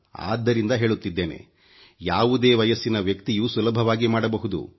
ಅದ್ದರಿಂದ ಹೇಳುತ್ತಿದ್ದೇನೆ ಯಾವುದೇ ವಯಸ್ಸಿನ ವ್ಯಕ್ತಿಯೂ ಸುಲಭವಾಗಿ ಮಾಡಬಹುದು